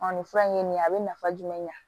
nin fura in ye nin ye a bɛ nafa jumɛn ɲa